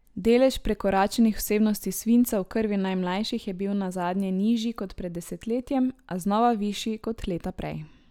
Delež prekoračenih vsebnosti svinca v krvi najmlajših je bil nazadnje nižji kot pred desetletjem, a znova višji kot leta prej.